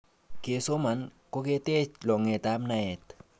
kesoman koketech longet ap naet